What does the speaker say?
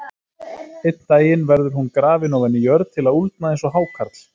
Einn daginn verður hún grafin ofan í jörð til að úldna eins og hákarl.